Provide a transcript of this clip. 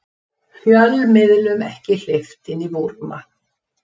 Fjölmiðlum ekki hleypt inn í Búrma